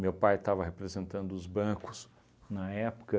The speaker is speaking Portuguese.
Meu pai estava representando os bancos na época.